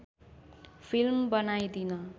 film बनाइदिन